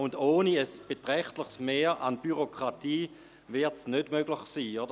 Ohne ein beträchtliches Mehr an Bürokratie wird dies nicht möglich sein.